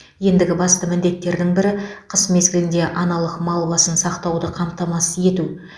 ендігі басты міндеттердің бірі қыс мезгілінде аналық мал басын сақтауды қамтамасыз ету